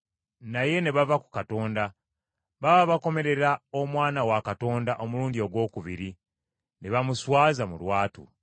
naye ne bava ku Katonda. Baba bakomerera Omwana wa Katonda omulundi ogwokubiri, ne bamuswaza mu lwatu.